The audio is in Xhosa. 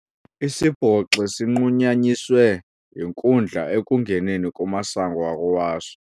Isibhoxi sinqunyanyiswe yinkundla ekungeneni kumasango akowaso.